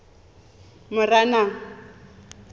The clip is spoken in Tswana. moranang